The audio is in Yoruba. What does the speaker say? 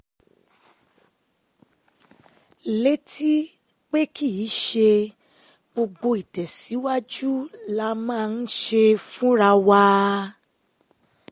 létí um pé kì í ṣe gbogbo ìtẹ̀síwájú la máa um ń ṣe fúnra wa